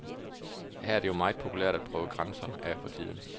Her er det jo meget populært at prøve grænser af for tiden.